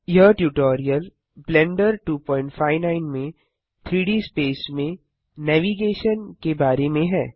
यह tutorial Blender 259 में 3डी स्पेस में नेविगेशन के बारे में है